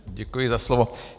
Děkuji za slovo.